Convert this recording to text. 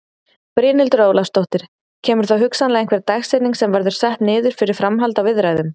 Brynhildur Ólafsdóttir: Kemur þá hugsanlega einhver dagsetning sem verður sett niður fyrir framhald á viðræðum?